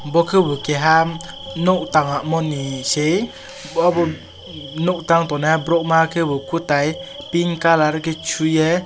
bo kebo keha nog tangmoni e sei obo nog tang tongnai borok ma kebo kotai pink colour shoyei.